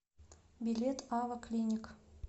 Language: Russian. билет ава клиник